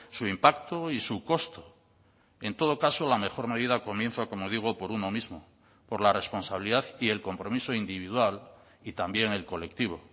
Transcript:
su impacto y su costo en todo caso la mejor medida comienza como digo por uno mismo por la responsabilidad y el compromiso individual y también el colectivo